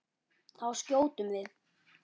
Þá skjótum við.